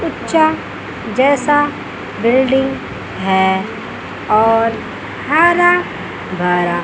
ऊंचा जैसा बिल्डिंग है और हरा भरा--